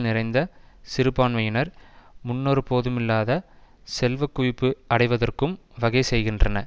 நிறைந்த சிறுபான்மையினர் முன்னொரு போதுமில்லாத செல்வக்குவிப்பு அடைவதற்கும் வகை செய்கின்றன